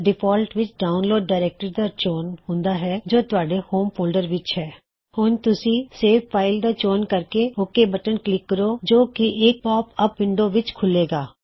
default ਵਿੱਚ download directory ਦਾ ਚੋਣ ਹੁੰਦਾ ਹੈ ਜੋ ਤੁਹਾਡੇ ਹੋਮ ਫੋਲਡਰ ਵਿੱਚ ਹੈ ਹੁਣ ਤੁਸੀਂ ਸੇਵ ਫਾਇਲ ਦਾ ਚੋਣ ਕਰਕੇ ਓਕ ਬਟਨ ਕਲਿੱਕ ਕਰੋ ਜੋ ਕੀ ਇੱਕ ਪੌਪ ਅਪ ਵਿੰਡੋ ਵਿੱਚ ਖੁੱਲ੍ਹੇਗਾ